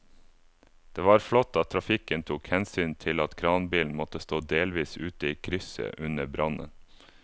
Det var flott at trafikken tok hensyn til at kranbilen måtte stå delvis ute i krysset under brannen.